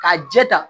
K'a jɛ ta